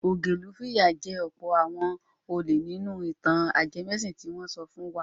Ògilún fìyà jẹ ọ̀pọ̀ àwọn olè nínú ìtàn ajẹmẹ́sìn tí wọ́n sọ fún wa.